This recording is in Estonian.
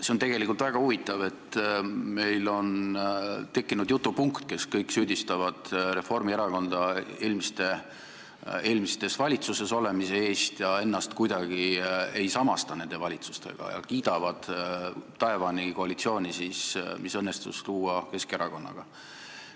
See on tegelikult väga huvitav, et meil on tekkinud päevakorrapunkt, kus kõik süüdistavad Reformierakonda eelmistes valitsustes olemise eest, ennast aga kuidagi ei samastata nende valitsustega ja kiidetakse taevani koalitsiooni, mis õnnestus luua Keskerakonnaga.